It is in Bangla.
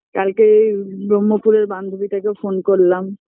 কালকে এই ব্রহ্মপুরের বান্ধবীটাকেও phone করলাম